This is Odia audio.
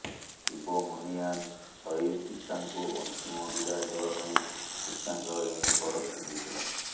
ଶିବମୁନିୟାନ ସହିଦ ପିତାଙ୍କୁ ଅନ୍ତିମ ବିଦାୟ ଦେବା ପାଇଁ ପିତାଙ୍କ ୟୁନିଫର୍ମ ପିିନ୍ଧିଥିଲା